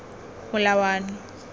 molawana